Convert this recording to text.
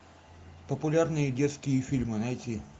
популярные детские фильмы найти